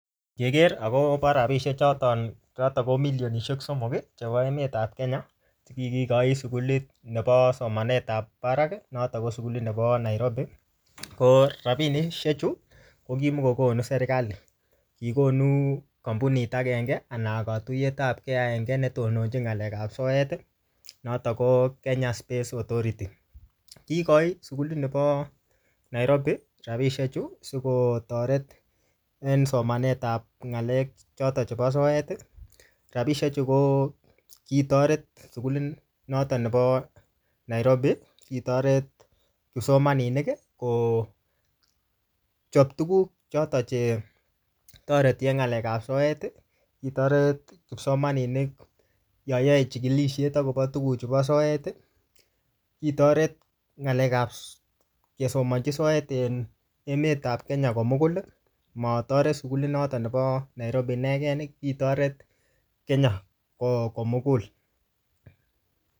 Keker akobo rabisiek choton chotok ko milionisiek somok chebo emetap Kenya, ne kikikochi sukulit nebo somanet ap barak, notok ko sukulit nebo Nairobi. Ko rabinishiek chu, ko kimukokonu serikali, kikonu kampunit agenge anan katuyetapke agenge netononchin ng'alekap soet, notok ko Kenya Space Authority. Kikochi sukulit nebo Nairobi rabisiek chu, sikotoret en somanetap ng'alek chotok chebo soet. Rabisikek chu ko kitoret sukulit noton nebo Nairobi. Kitoret kipsomaninik kochop tuguk choton che toreti en ng'alekap soet. Kitoret kipsomaninik yayae chikilishet akobo tuguchu bo soet. Kitoret ng'alekap kesomanchi soet en emetap Kenya komugul. Matoret sukulit notok nebo Nairobi inegen, kitoret Kenya komugul.